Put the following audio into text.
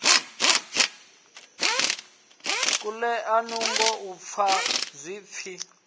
kulea nungo u fa zwipfi